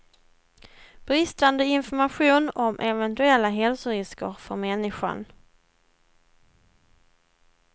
Bristande information om eventuella hälsorisker för människan.